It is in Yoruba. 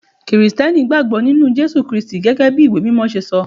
Kirìtẹ́nì gbàgbó nínú Jésù Kristi gẹ́gẹ́ bí ìwé mímọ ṣe sọ.